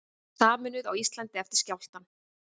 Sameinuð á Íslandi eftir skjálftann